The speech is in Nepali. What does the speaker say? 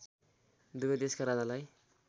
दुवै देशका राजालाई